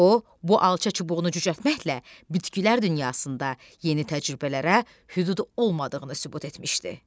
O bu alça çubuğunu cücərtməklə bitkilər dünyasında yeni təcrübələrə hüdud olmadığını sübut etmişdi.